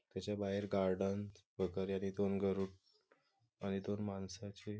त्याच्या बाहेर गार्डन दोन गरुड आणि दोन माणसांची --